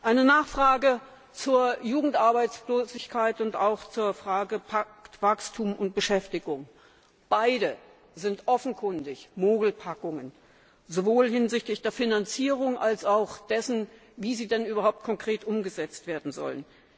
Eine Nachfrage zur Jugendarbeitslosigkeit und zu Wachstum und Beschäftigung Beide sind offenkundig Mogelpackungen sowohl hinsichtlich der Finanzierung als auch hinsichtlich dessen, wie sie konkret umgesetzt werden sollen!